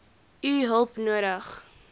u hulp nodig